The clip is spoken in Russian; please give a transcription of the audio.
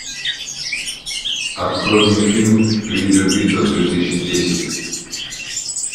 открой мне фильм видеобитва две тысячи десять